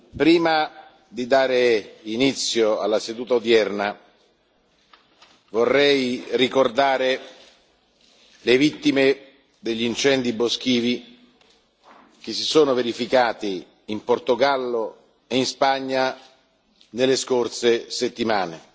Prima di dare inizio alla seduta odierna vorrei ricordare le vittime degli incendi boschivi che si sono verificati in Portogallo e in Spagna nelle scorse settimane.